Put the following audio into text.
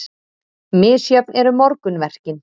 Misjöfn eru morgunverkin.